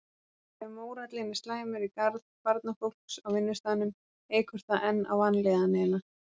Ef mórallinn er slæmur í garð barnafólks á vinnustaðnum eykur það enn á vanlíðanina.